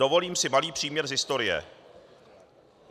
Dovolím si malý příměr z historie.